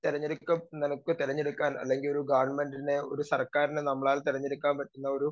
speaker 2 തെരഞ്ഞെടുക്ക നമ്മക്ക് തെരഞ്ഞെടുക്കാൻ അല്ലെങ്കി ഗവൺമെന്റിനെ ഒരു സർക്കാരിനെ നമ്മളാൽ തെരഞ്ഞെടുക്കാനൊരു